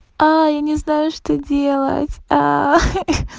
я не знаю что делать ха-ха